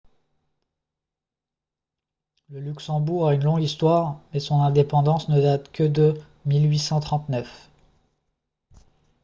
le luxembourg a une longue histoire mais son indépendance ne date que de 1839